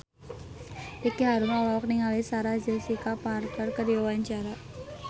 Ricky Harun olohok ningali Sarah Jessica Parker keur diwawancara